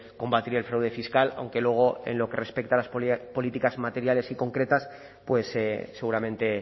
combatir el fraude fiscal aunque luego en lo que respecta a las políticas materiales y concretas seguramente